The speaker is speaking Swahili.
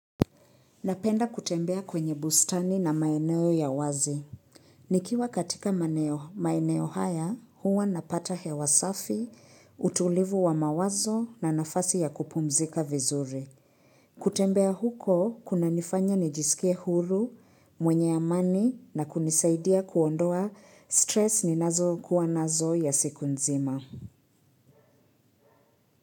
Napenda kutembea kwenye bustani na maeneo ya wazi. Nikiwa katika maeneo haya, huwa napata hewa safi, utulivu wa mawazo na nafasi ya kupumzika vizuri. Kutembea huko, kunanifanya nijisikie huru, mwenye amani na kunisaidia kuondoa stress ninazo kuwa nazo ya siku nzima.